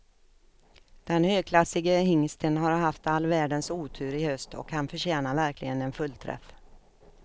Den högklassige hingsten har haft all världens otur i höst och han förtjänar verkligen en fullträff.